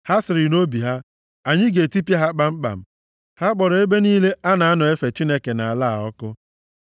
Ha sịrị nʼobi ha, “Anyị ga-etipịa ha kpamkpam!” Ha kpọrọ ebe niile a na-anọ efe Chineke nʼala a ọkụ.